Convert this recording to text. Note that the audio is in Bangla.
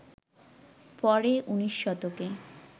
পরে উনিশ শতকে